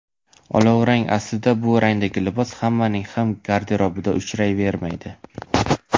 Olovrang Aslida bu rangdagi libos hammaning ham garderobida uchrayvermaydi.